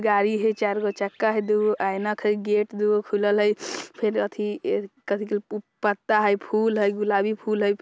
गाड़ी हय चार गो चक्का हय दू गो आइना दू गो गेट खुलल हय फिर अथी ऐ कथि के पु-पत्ता हय फूल हय गुलाबी फूल हय।